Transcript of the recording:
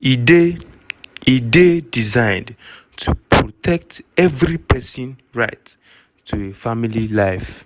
e dey e dey designed to protect evri pesin right to a family life.